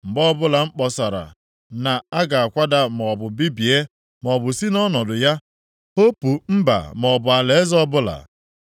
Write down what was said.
Mgbe ọbụla m kpọsara na a ga-akwada maọbụ bibie, maọbụ si nʼọnọdụ ya hopu mba maọbụ alaeze ọbụla,